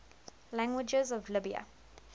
languages of libya